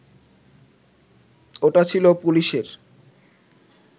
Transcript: ওটা ছিল পুলিশের